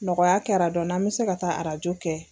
Nɔgɔya kɛra dɔɔni an bɛ se ka taa arajo kɛ.